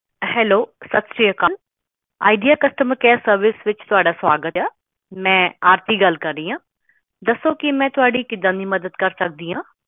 Hello ਸਤਿ ਸਿਰੀ ਅਕਾਲ ਵਿਚਾਰ customer care service ਵਿੱਚ ਤੁਹਾਡਾ ਸਵਾਗਤ ਹੈ ਮੈਂ ਆਰਤੀ ਗੱਲ ਕਰ ਰਹੀ ਹਾਂ ਦੱਸੋ ਮੈਂ ਤੁਹਾਡੀ ਕਿੱਦਾਂ ਦੀ ਮਦਦ ਕਰ ਸਕਦੀ ਹਾਂ